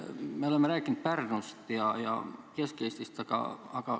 Me oleme rääkinud Pärnust ja Kesk-Eestist.